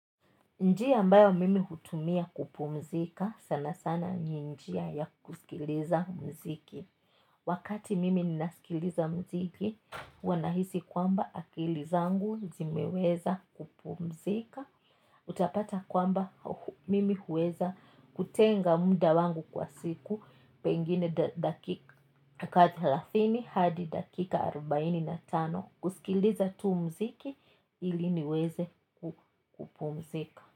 Njia ambayo mimi hutumia kupumzika sanasana ni njia ya kusikiliza muziki wakati mimi ninasikiliza muziki huwa nahisi kwamba akili zangu zimeweza kupumzika utapata kwamba mimi huweza kutenga muda wangu kwa siku pengine dakika thelathini hadi dakika arubaini na tano kusikiliza tu muziki ili niweze kupumzika.